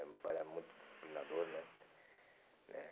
Meu pai era muito disciplinador, né? É